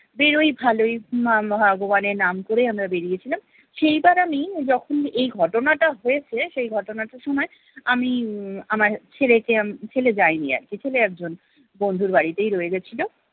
বেরোই ভালোই মা ভগবানের নাম করে আমরা বেরিয়ে ছিলাম। সেই বার আমি যখন এই ঘটনাটা হয়েছে সেই ঘটনাটার সময় আমি উম আমার ছেলেকে উম ছেলে যায়নি আরকি ছেলে একজন বন্ধুর বাড়িতেই রয়ে গেছিলো